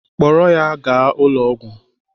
Kpọrọ ya gaa ụlọ ọgwụ!